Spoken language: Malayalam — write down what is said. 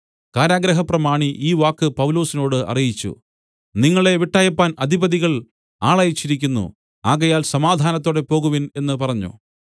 കാരാഗൃഹപ്രമാണി ഈ വാക്ക് പൗലൊസിനോട് അറിയിച്ചു നിങ്ങളെ വിട്ടയപ്പാൻ അധിപതികൾ ആളയച്ചിരിക്കുന്നു ആകയാൽ സമാധാനത്തോടെ പോകുവിൻ എന്നു പറഞ്ഞു